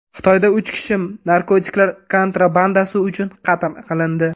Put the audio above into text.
Xitoyda uch kishi narkotiklar kontrabandasi uchun qatl qilindi.